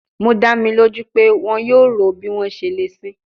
Mo da mi loju pe wọn yoo ro bi wọn ṣe le sin i